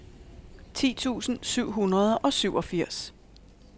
ti tusind syv hundrede og syvogfirs